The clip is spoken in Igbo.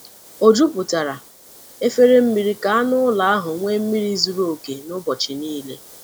O jupụtara efere mmiri ka anụ ụlọ ahụ nwee mmiri zuru oke n’ụbọchị niile.